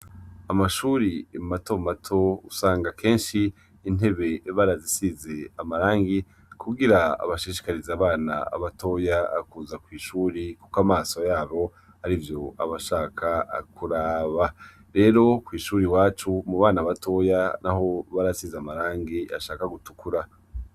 Amashuri matomato usanga kenshi intebe barazisize amarangi kugira abashishikarizi abana batoya kuza kw'ishuri, kuko amaso yabo ari vyo abashaka kuraba rero kw'ishuri iwacu mu bana batoya naho barasize amarangi ashaka gutukura.